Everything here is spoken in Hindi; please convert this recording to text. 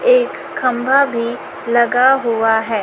एक खंभा भी लगा हुआ है।